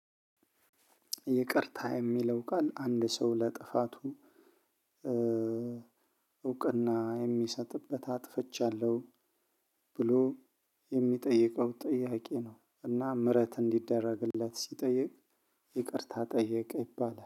ይቅርታ የሚለው ቃል አንድ ሰው ለጥፋቱ እውቅና የሚሰጥበት አጥፈቻለሁ ብሎ የሚጠይቀው ጥያቄ ነው፤ እና ምህረት እንዲደረግለት ሲጠይቅ ይቅርታ ጠየቀ ይባላል።